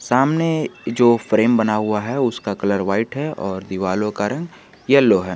सामने जो फ्रेम बना हुआ है उसका कलर व्हाइट है और दीवारों का रंग येलो है।